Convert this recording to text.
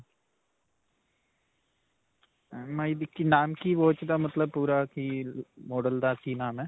MI ਦੀ. ਕੀ ਨਾਮ ਕੀ watch ਦਾ ਮਤਲਬ, ਪੂਰਾ ਕੀ model ਦਾ ਕੀ ਨਾਮ ਹੈ?